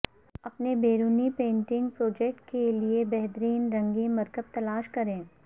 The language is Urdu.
اپنے بیرونی پینٹنگ پروجیکٹ کے لئے بہترین رنگین مرکب تلاش کریں